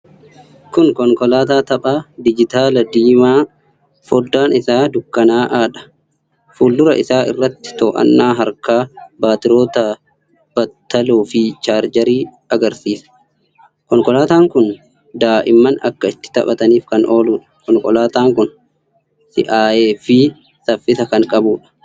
Kun konkolaataa taphaa diijitaalaa diimaa, foddaan isaa dukkanaa'aadha. Fuuldura isaa irratti to’annaa harkaa, baatiroota battaloo fi chaarjarii agarsiisa. Konkolaataan kun daa'imman akka itti taphataniif kan ooludha. Konkolaataan kun si’aayee fi saffisa kan qabudha.